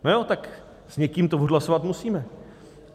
No jo, tak s někým to odhlasovat musíme.